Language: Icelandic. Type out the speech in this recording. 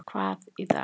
Hvað í dag?